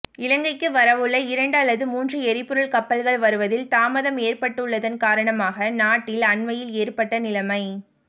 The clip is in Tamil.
இலங்கைக்கு வரவுள்ள இரண்டு அல்லது மூன்று எரிபொருள் கப்பல்கள் வருவதில் தாமதம் ஏற்பட்டுள்ளதன் காரணமாக நாட்டில் அண்மையில் ஏற்பட்ட நிலைமை